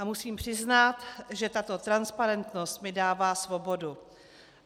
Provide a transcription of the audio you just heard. A musím přiznat, že tato transparentnost mi dává svobodu.